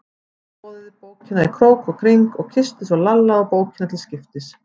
Hún skoðaði bókina í krók og kring og kyssti svo Lalla og bókina til skiptis.